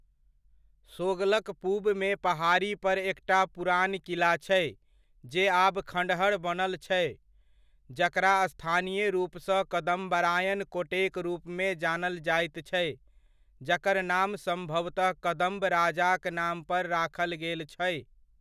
सोगलक पूबमे पहाड़ी पर एकटा पुरान किला छै, जे आब खँड़हर बनल छै, जकरा स्थानीय रूपसँ कदम्बारायण कोटेक रूपमे जानल जाइत छै, जकर नाम सम्भवतह कदम्ब राजाक नाम पर राखल गेल छै।